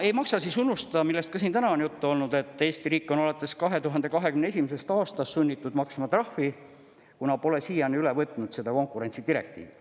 Ei maksa unustada, millest ka siin täna on juttu olnud, et Eesti riik on alates 2021. aastast sunnitud maksma trahvi, kuna pole siiani üle võtnud seda konkurentsidirektiivi.